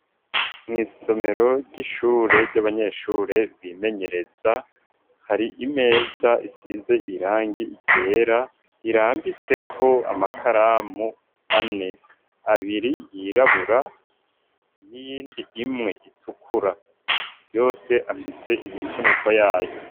Mw'isomero ry'ishure ry'abanyeshure bimenyereza hari imeza isize irangi igera irambiseko amakaramu ane abiri yirabura iyindi imwe itukura yose afise imivuniko yayo.